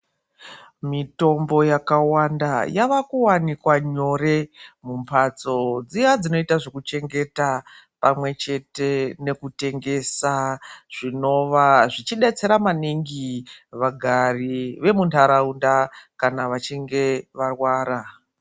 Mitombo yakawanda yava kuwanika nyore mumbhatso dziya dzinoita zvekuchengeta pamwe chete nekutengesa zvinova zvichidetsera maningi vagari vemuntaraunda kana vachinge varwara.